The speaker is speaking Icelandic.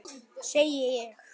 Segi ég.